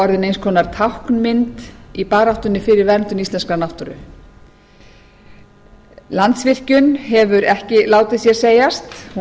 orðin eins konar táknmynd í baráttunni fyrir verndun íslenskrar náttúru landsvirkjun hefur ekki látið sér segjast hún